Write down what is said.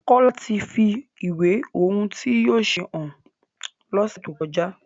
Kola tí fí ìwé ohùn tí yóò ṣe hàn l'onse to kọjá